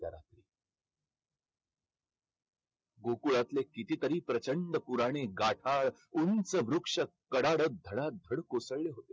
गोकुळातले कितीतरी प्रचंड पुराणे गाठाळ उंच वृक्ष कडाडत धडाधड कोसळले होते.